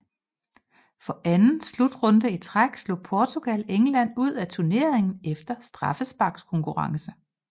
For anden slutrunde i træk slog Portugal England ud af turneringen efter straffesparkskonkurrence